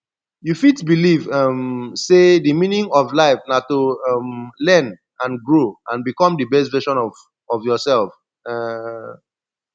you fit believe um say di meaning of life na to um learn and grow and become di best version of of yourself um